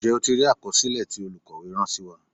Ǹjẹ́ o ti rí àkọsílẹ̀ tí olukowe rán sí wa.